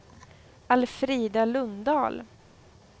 Alfrida Lundahl